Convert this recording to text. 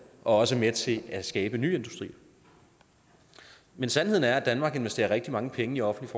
og også er med til at skabe nye industrier men sandheden er at danmark investerer rigtig mange penge i offentlig